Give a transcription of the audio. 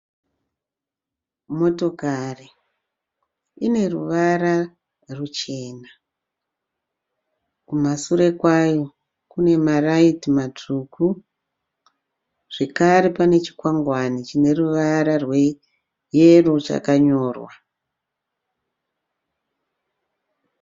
Motokari, ineruvara ruchena. Kumashure kwavo kunemaraiti matsvuku. Zvakare pane chikwangwane chineruvara rweyero chakanyorwa.